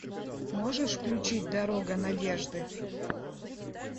можешь включить дорога надежды